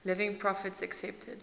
living prophets accepted